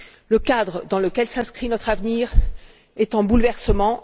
Le cadre dans lequel s'inscrit notre avenir est en bouleversement.